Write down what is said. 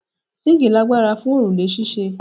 Síńkì lagbara fun orule ṣíṣe